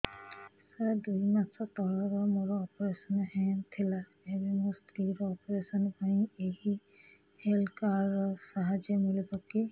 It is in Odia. ସାର ଦୁଇ ମାସ ତଳରେ ମୋର ଅପେରସନ ହୈ ଥିଲା ଏବେ ମୋ ସ୍ତ୍ରୀ ର ଅପେରସନ ପାଇଁ ଏହି ହେଲ୍ଥ କାର୍ଡ ର ସାହାଯ୍ୟ ମିଳିବ କି